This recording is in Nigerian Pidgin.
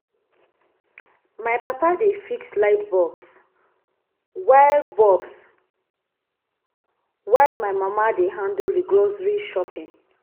My papa dey fix light bulbs, while bulbs while my mama dey handle the grocery shopping.